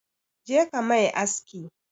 Je ka mai aski!